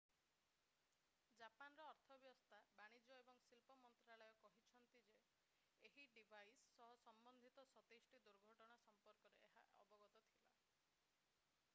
ଜାପାନର ଅର୍ଥବ୍ୟବସ୍ଥା ବାଣିଜ୍ୟ ଏବଂ ଶିଳ୍ପ ମନ୍ତ୍ରାଳୟ meti କହିଛି ଯେ ଏହି ଡିଭାଇସ୍ ସହ ସମ୍ବନ୍ଧିତ 27 ଟି ଦୁର୍ଘଟଣା ସମ୍ପର୍କରେ ଏହା ଅବଗତ ଥିଲା।